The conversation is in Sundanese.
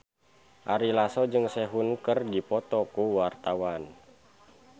Ari Lasso jeung Sehun keur dipoto ku wartawan